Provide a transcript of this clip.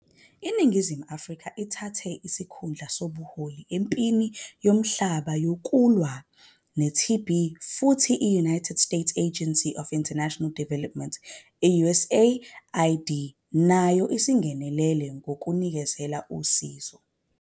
INingizimu Afrika isithathe isikhundla sobuholi empini yomhlaba wonke yokulwa ne-TB, futhi iUnited States Agency for International Development, USAID, nayo seyingenelele ngokunikeza usizo.